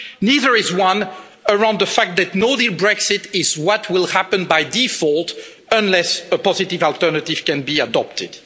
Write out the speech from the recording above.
Neither is there one around the fact that a no deal Brexit is what will happen by default unless a positive alternative can be adopted.